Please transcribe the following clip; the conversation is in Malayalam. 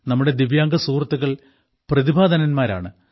നമ്മുടെ ദിവ്യാംഗ സുഹൃത്തുക്കൾ പ്രതിഭാധനന്മാരാണ്